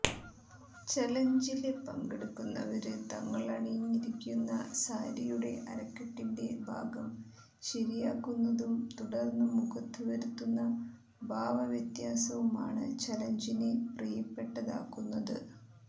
ചലഞ്ചില് പങ്കെടുക്കുന്നവര് തങ്ങളണിഞ്ഞിരിക്കുന്ന സാരിയുടെ അരക്കെട്ടിന്റെ ഭാഗം ശരിയാക്കുന്നതും തുടര്ന്ന് മുഖത്ത് വരുത്തുന്ന ഭാവവ്യത്യാസവുമാണ് ചലഞ്ചിനെ പ്രിയപ്പെട്ടതാക്കുന്നത്